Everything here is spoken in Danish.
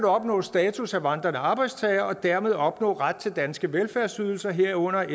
opnå status af vandrende arbejdstager og dermed opnå ret til danske velfærdsydelser herunder